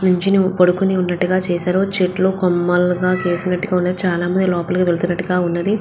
నుంచుని పడుకుని ఉన్నట్టుగా చేశారు. చెట్లు కొమ్మలగా చేసినట్టుగా ఉంది. చాలా మంది లోపలకి వెళ్ళినట్టుగా ఉన్నది.